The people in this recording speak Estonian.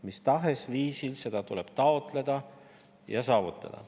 Mis tahes viisil seda tuleb taotleda ja see saavutada.